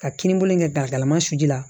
Ka kininbolo in kɛ galama su la